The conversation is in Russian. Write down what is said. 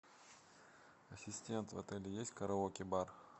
ассистент в отеле есть караоке бар